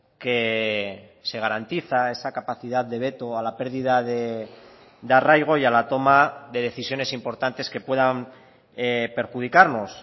que se garantiza esa capacidad de veto a la pérdida de arraigo y a la toma de decisiones importantes que puedan perjudicarnos